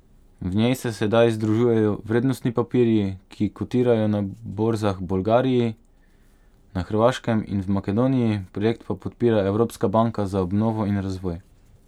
V njej se sedaj združujejo vrednostni papirji, ki kotirajo na borzah Bolgariji, na Hrvaškem in v Makedoniji, projekt pa podpira Evropska banka za obnovo in razvoj.